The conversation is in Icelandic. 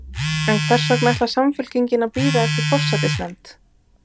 En hvers vegna ætlar Samfylkingin að bíða eftir forsætisnefnd?